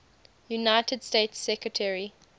united states secretary